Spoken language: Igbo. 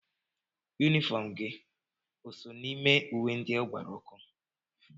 Yunifọm gị o so n'ime uwe ndị ọ gbara ọkụ.